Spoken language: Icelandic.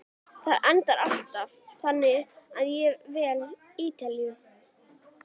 Það endar alltaf þannig að ég vel Ítalíu.